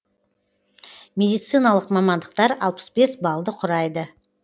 медициналық мамандықтар алпыс бес баллды құрайды